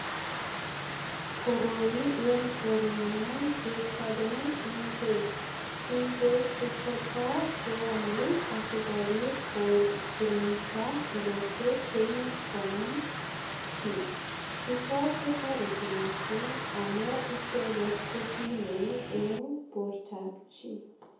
Koroi en korenyon kechopen ingwek. Ingwek che choto keamei asikopit ko kiringnda korotwek che imuch konam chi. Chutok ko toreti mising amun icheget ko kimen eng bortab chi.